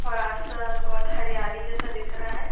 और आसपास बहोत हरियाली जैसा दिख रहा है।